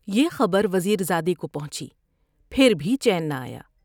یہ خبروز یر زادے کو پہنچی ، پھر بھی چین نہ آیا ۔